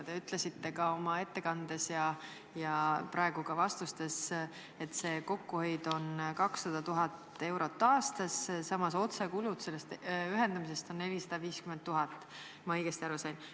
Te ütlesite oma ettekandes ja praegu ka vastustes, et kokkuhoid on 200 000 eurot aastas, samas otsekulud ühendamisest on 450 000, kui ma õigesti aru sain.